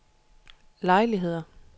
lejligheder